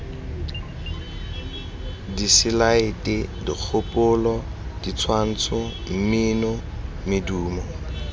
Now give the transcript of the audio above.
diselaete dikgopolo ditshwantsho mmino medumo